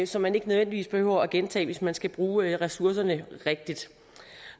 som man ikke nødvendigvis behøver at gentage hvis man skal bruge ressourcerne rigtigt